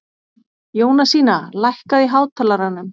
Jónasína, lækkaðu í hátalaranum.